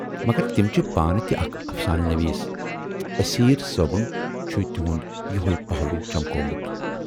مگر تِم چھِ پانہٕ تہِ اکھ افسانہٕ نویٖس تہٕ اسیرؔ صٲبُن چھُ تِہُند یوہے پہلوٗ چمکومُت۔